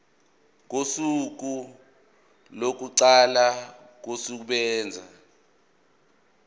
kosuku lokuqala kokusebenza